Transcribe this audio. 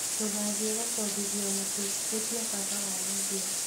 Ndũgathiĩ gũkombithio mũtu ĩtia baba wanyu mbia